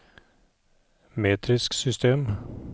metrisk system